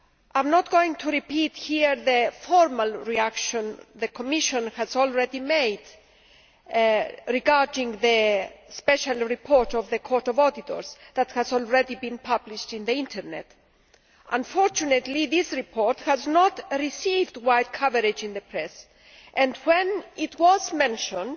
I am not going to repeat here the formal reaction the Commission has already made regarding the Court of Auditors' special report, which has already been published on the Internet. Unfortunately, this report has not received wide coverage in the press and, when it was mentioned,